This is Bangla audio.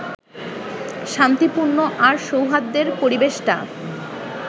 শান্তিপূর্ণ আর সৌহার্দ্যের পরিবেশটা